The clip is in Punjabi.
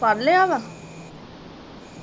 ਪੜ੍ਹਲਿਆ ਵਾ?